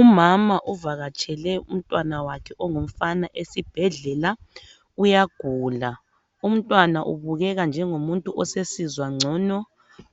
Umama uvakatshele umntwana wakhe ongumfana esibhedlela uyagula umntwana ubukeka njengomuntu osesizwa ngcono